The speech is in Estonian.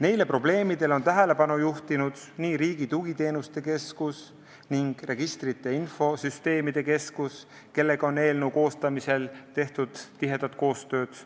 Neile probleemidele on tähelepanu juhtinud Riigi Tugiteenuste Keskus ning Registrite ja Infosüsteemide Keskus, kellega on eelnõu koostamisel tehtud tihedat koostööd.